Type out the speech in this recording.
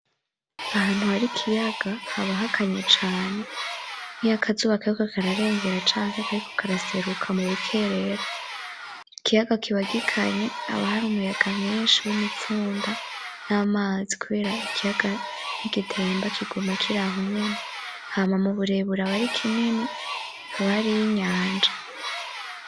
Ahantu har'ikiyaga haba hakanye cane, nkiyo akazuba kariko kararenga canke kariko karaseruka mu bukerera, ikiyaga kiba gikanye haba har'umuyaga mwinshi w'imipfunda n'amazi kubera ikiyaga ntigitemba kiguma kir'aho nyene, hama mu burebure abari kinini haba hariy'inyanja.